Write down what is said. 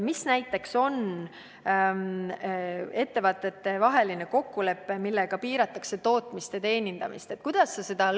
Mis on näiteks ettevõtetevaheline kokkulepe, millega piiratakse tootmist ja teenindamist?